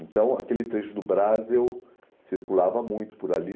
Então, aquele trecho do Brás, eu circulava muito por ali.